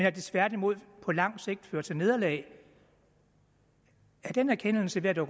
at det tværtimod på lang sigt fører til nederlag er den erkendelse ved at